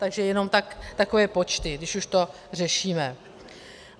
Takže jenom takové počty, když už to řešíme.